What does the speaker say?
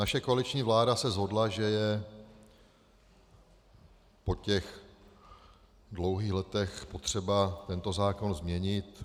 Naše koaliční vláda se shodla, že je po těch dlouhých letech potřeba tento zákon změnit.